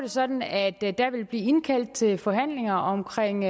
sådan at der vil blive indkaldt til forhandlinger omkring